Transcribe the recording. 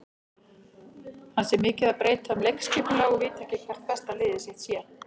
Hann sé mikið að breyta um leikskipulag og viti ekki hvert besta lið sitt sé.